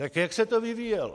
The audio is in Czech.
Tak jak se to vyvíjelo?